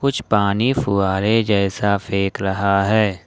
कुछ पानी फुहारे जैसा फेंक रहा है।